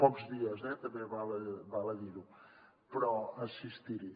pocs dies també val a dir ho però assistir hi